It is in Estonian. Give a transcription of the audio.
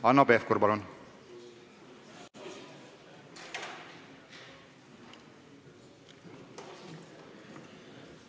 Hanno Pevkur, palun!